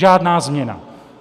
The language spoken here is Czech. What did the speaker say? Žádná změna.